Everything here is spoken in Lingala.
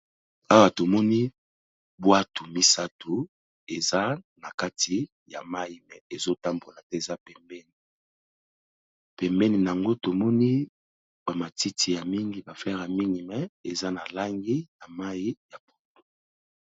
Awa tomoni bwato misato eza na kati ya mayi mais ezo tambola te eza pembeni, pembeni nango tomoni ba matiti ya mingi ba fleur mingi mais eza na langi ya mayi ya pondu.